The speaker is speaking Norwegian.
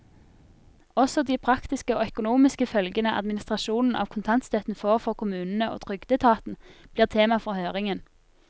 Også de praktiske og økonomiske følgene administrasjonen av kontantstøtten får for kommunene og trygdeetaten, blir tema for høringen.